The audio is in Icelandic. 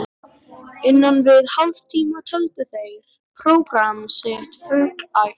innan við hálftíma töldu þeir prógramm sitt fullæft.